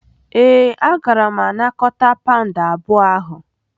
Ee, agara m anakọta pound abụọ ahụ.